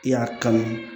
I y'a kanu